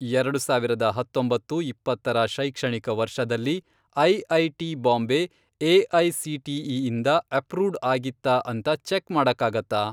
ಎರಡು ಸಾವಿರದ ಹತ್ತೊಂಬತ್ತು, ಇಪ್ಪತ್ತರ, ಶೈಕ್ಷಣಿಕ ವರ್ಷದಲ್ಲಿ, ಐ.ಐ.ಟಿ. ಬಾಂಬೆ ಎ.ಐ.ಸಿ.ಟಿ.ಇ. ಇಂದ ಅಪ್ರೂವ್ಡ್ ಆಗಿತ್ತಾ ಅಂತ ಚೆಕ್ ಮಾಡಕ್ಕಾಗತ್ತಾ?